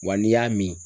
Wa n'i y'a min